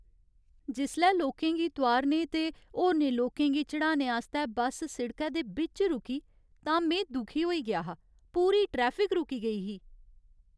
जिसलै लोकें गी तोआरने ते होरनें लोकें गी चढ़ाने आस्तै बस सिड़कै दे बिच्च रुकी तां में दुखी होई गेआ हा। पूरी ट्रैफिक रुकी गेई ही।